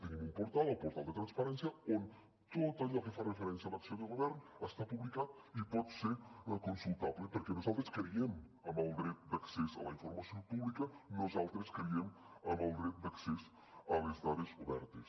tenim un portal el portal de transparència on tot allò que fa referència a l’acció de govern està publicat i pot ser consultable perquè nosaltres creiem en el dret d’accés a la informació pública nosaltres creiem en el dret d’accés a les dades obertes